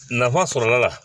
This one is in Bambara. Nafa sɔrɔla la